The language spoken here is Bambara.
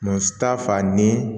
Muso ta fan ni